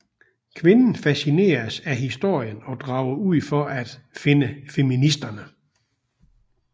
Kvinden fascineres af historien og drager ud for at finde feministerne